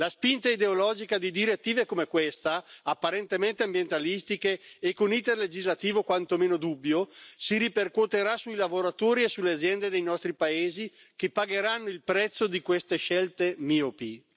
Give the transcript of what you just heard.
La spinta ideologica di direttive come questa, apparentemente ambientalistiche e con iter legislativo quantomeno dubbio, si ripercuoterà sui lavoratori e sulle aziende dei nostri paesi che pagheranno il prezzo di queste scelte miopi.